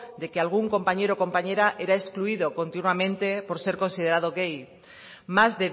de que algún compañera o compañero era excluido continuamente por ser considerado gay más